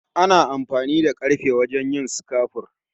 Ana amfani da karfe wajen yin sukafur